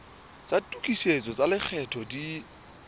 tsa tokisetso tsa lekgetho di